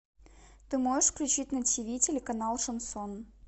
ты можешь включить на ти ви телеканал шансон